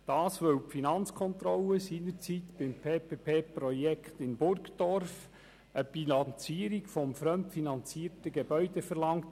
Die Finanzkontrolle verlangte nämlich seinerzeit beim PPP-Projekt in Burgdorf eine Bilanzierung des fremdfinanzierten Gebäudes.